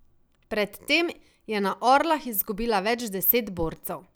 Pred tem je na Orlah izgubila več deset borcev.